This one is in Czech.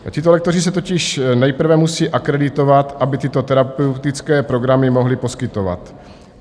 Tito lektoři se totiž nejprve musí akreditovat, aby tyto terapeutické programy mohli poskytovat.